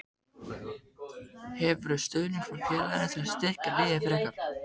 Hefurðu stuðning frá félaginu til að styrkja liðið frekar?